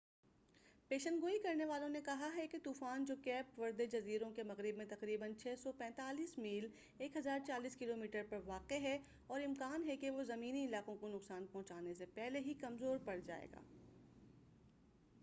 پیشن گوئی کرنے والوں نے کہا ہے کہ طوفان جو کیپ وردے جزیروں کے مغرب میں تقریبا 645 میل 1040 کلومیٹر پر واقع ہے، اور امکان ہے کہ وہ زمینی علاقوں کو نقصان پہنچانے سے پہلے ہی کمزور پڑ جائے گا۔